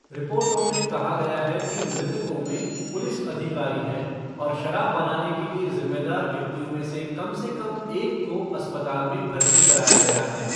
रिपोर्टों में कहा गया है कि मृतकों में पुलिस अधिकारी हैं, और शराब बनाने के लिए जिम्मेदार व्यक्तियों में से कम से कम एक को अस्पताल में भर्ती कराया गया है।